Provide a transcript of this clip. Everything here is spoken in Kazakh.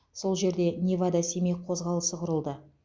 сол жерде невада семей қозғалысы құрылды